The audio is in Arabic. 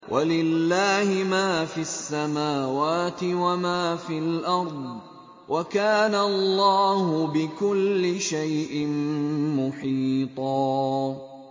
وَلِلَّهِ مَا فِي السَّمَاوَاتِ وَمَا فِي الْأَرْضِ ۚ وَكَانَ اللَّهُ بِكُلِّ شَيْءٍ مُّحِيطًا